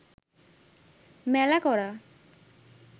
মেলা করা